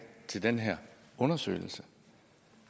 til den her undersøgelse